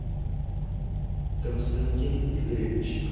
константин игоревич